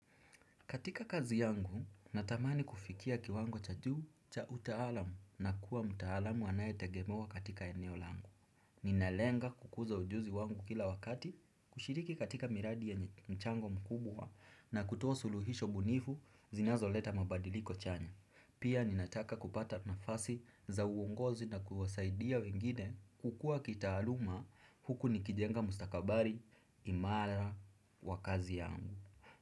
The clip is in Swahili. Katika kazi yangu, natamani kufikia kiwango cha juu cha utaalamu na kuwa mtaalamu anayetegemewa katika eneo langu. Ninalenga kukuza ujuzi wangu kila wakati, kushiriki katika miradi yenye mchango mkubwa na kutoa suluhisho bunifu zinazoleta mabadiliko chanya. Pia ninataka kupata nafasi za uongozi na kuwasaidia wengine kukua kitaaluma huku nikijenga mustakabali imara wa kazi yangu.